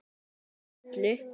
Sem breytti öllu.